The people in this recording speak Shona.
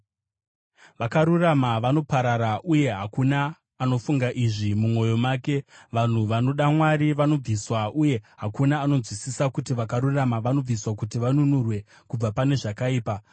Vakarurama vanoparara, uye hakuna anofunga izvi mumwoyo make; vanhu vanoda Mwari vanobviswa, uye hakuna anonzwisisa kuti vakarurama vanobviswa kuti vanunurwe kubva pane zvakaipa.